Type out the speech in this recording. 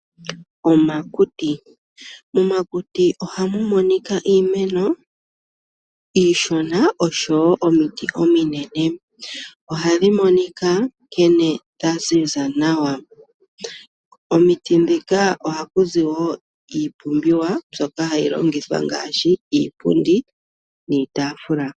Omakuti. Momakuti oha mu monika iimeno iishona oshowo omiti ominene. Ohadhi monika nkene dha ziza nawa. Komiti huka oha ku zi iipumbiwa mbyoka hayi longithwa ngaashi iipundi, oshowo iitaafula.